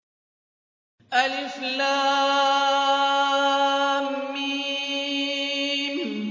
الم